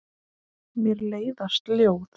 Mér leiðast ljóð.